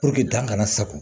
dan kana sago